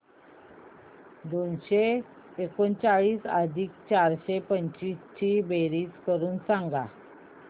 दोनशे एकोणचाळीस अधिक चारशे पंचवीस ची बेरीज करून सांगा